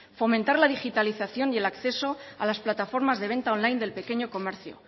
fomentar la digitalización y el acceso a las plataformas de venta online del pequeño comercio